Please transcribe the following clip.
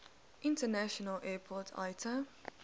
international airport iata